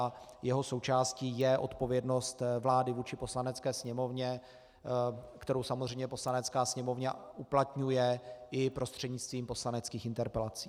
A jeho součástí je odpovědnost vlády vůči Poslanecké sněmovně, kterou samozřejmě Poslanecká sněmovna uplatňuje i prostřednictvím poslaneckých interpelací.